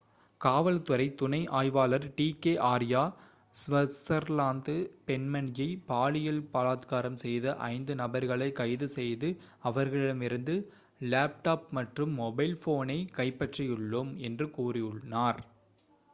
"காவல் துறை துணை ஆய்வாளர் டி கே ஆர்யா ஸ்விஸர்லாந்த் பெண்மணியை பாலியல் பலாத்காரம் செய்த ஐந்து நபர்களை கைது செய்து அவர்களிடமிருந்து லேப்டாப் மற்றும் மொபைல் ஃபோனை கைப்பற்றியுள்ளோம்." என்று கூறினார்.